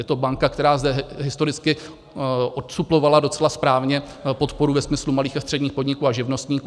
Je to banka, která zde historicky odsuplovala docela správně podporu ve smyslu malých a středních podniků a živnostníků.